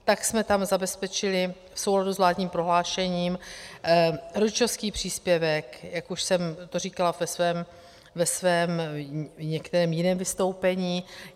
Tak jsme tam zabezpečili v souladu s vládním prohlášením rodičovský příspěvek, jak už jsem to říkala ve svém některém jiném vystoupení.